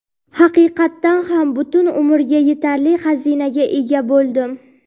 Haqiqatan ham butun umrga yetarli xazinaga ega bo‘ldim.